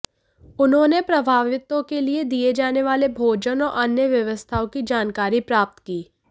उन्होंने प्रभावितों के लिए दिए जाने वाले भोजन और अन्य व्यवस्थाओं की जानकारी प्राप्त की